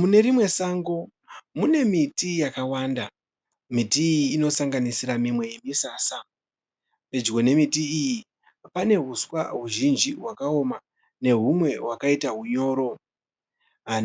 Mune rimwe sango mune miti yakawanda. Miti iyi inosanganisira mimwe yeMisasa. Pedyo nemiti iyi pane uswa huzhinji hwakaoma nehumwe hwakaita hunyoro.